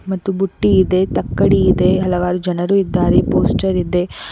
ಮತ್ತು ಬುಟ್ಟಿ ಇದೆ ತಕ್ಕಡಿ ಇದೆ ಹಲವಾರು ಜನರು ಇದ್ದಾರೆ ಪೊಸ್ಚರ್ ಇದೆ.